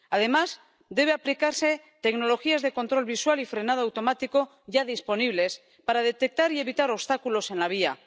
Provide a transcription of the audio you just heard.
Además, deben aplicarse tecnologías de control visual y frenado automático, ya disponibles, para detectar y evitar obstáculos en la vía.